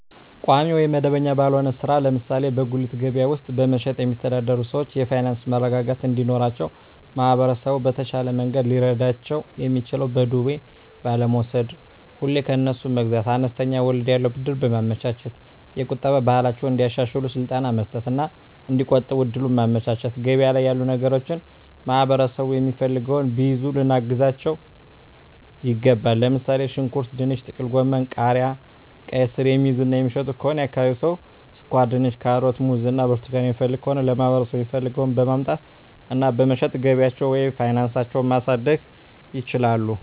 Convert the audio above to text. ቋሚ ወይም መደበኛ ባልሆነ ሥራ ላይ (ለምሳሌ በጉሊት ገበያ ውስጥ በመሸጥ)የሚተዳደሩ ሰዎች የፋይናንስ መረጋጋት እንዲኖራቸው ማህበረሰቡ በተሻለ መንገድ ሊረዳቸው የሚችለው በዱቤ ባለመውስድ፤ ሁሌ ከነሱ መግዛት፤ አነስተኛ ወለድ ያለው ብድር በማመቻቸት፤ የቁጠባ ባህላቸውን እንዲያሻሽሉ ስልጠና መስጠት እና እዲቆጥቡ እድሉን ማመቻቸት፤ ገበያ ላይ ያሉ ነገሮችን ማህበረሠቡ የሚፈልገውን ቢይዙ ልናግዛቸው ይገባል። ለምሣሌ፦ ሽንኩርት፤ ድንች፤ ጥቅልጎመን፤ ቃሪያ፤ ቃይስር፤ የሚይዙ እና የሚሸጡ ከሆነ የአካባቢው ሠው ስኳርድንች፤ ካሮት፤ ሙዝ እና ብርቱካን የሚፈልግ ከሆነ ለማህበረሰቡ የሚፈልገውን በማምጣት እና በመሸጥ ገቢያቸውን ወይም ፋናሳቸው ማሣደግ ይችላሉ።